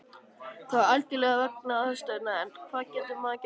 Það var algjörlega vegna aðstæðna, en hvað getur maður gert?